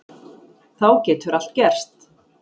Þá getur allt gerst.